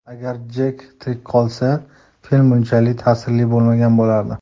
Agar Jek tirik qolsa, film bunchalik ta’sirli bo‘lmagan bo‘lardi.